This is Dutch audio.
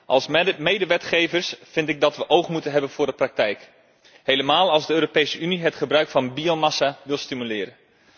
Als medewetgevers vind ik dat we oog moeten hebben voor de praktijk, helemaal als de Europese Unie het gebruik van biomassa wil stimuleren.